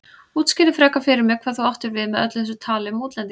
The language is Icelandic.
Útskýrðu frekar fyrir mér hvað þú áttir við með öllu þessu tali um útlendinga.